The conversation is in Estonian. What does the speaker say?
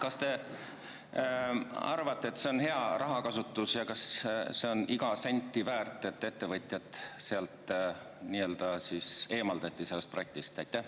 Kas te arvate, et see on hea rahakasutus ja kas igat senti on väärt see, et ettevõtjad nii-öelda sealt eemaldati, sellest projektist?